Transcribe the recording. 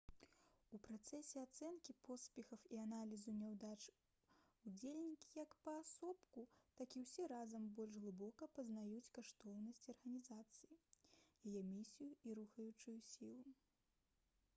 у працэсе ацэнкі поспехаў і аналізу няўдач удзельнікі як паасобку так і ўсе разам больш глыбока пазнаюць каштоўнасці арганізацыі яе місію і рухаючыя сілы